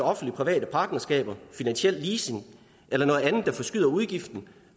offentlig private partnerskaber finansiel leasing eller noget andet der forskyder udgiften